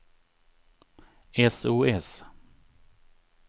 sos